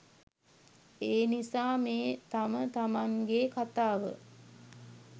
එනිසා මේ තමතමන්ගෙ කතාව